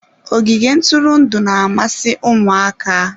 Ogige ntụrụndụ na-amasị ụmụaka.